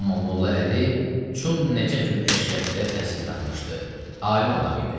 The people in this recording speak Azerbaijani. Amma Molla Əli Çun Nəcəf əşrəfdə təhsil tapmışdı, alim adam idi.